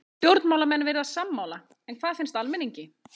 Stjórnmálamenn virðast sammála en hvað finnst almenningi?